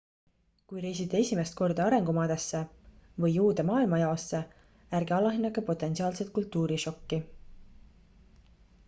kui reisite esimest korda arengumaadesse või uude maailmajaosse ärge alahinnake potentsiaalset kultuurišokki